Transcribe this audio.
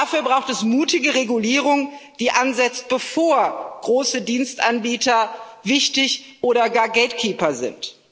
Dafür braucht es mutige Regulierung, die ansetzt, bevor große Dienstanbieter wichtig oder gar Gatekeeper sind.